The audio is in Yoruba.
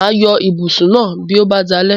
Mà á yọ ibùsùn náà bí ó bá dalẹ́.